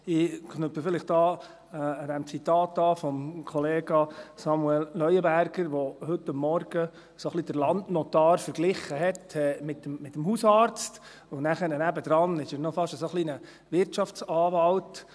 Ich knüpfe hier vielleicht an das Zitat von Kollega Samuel Leuenberger an, der heute Morgen ein wenig den Landnotar mit dem Hausarzt verglich, und nebenher ist er fast noch ein wenig ein Wirtschaftsanwalt.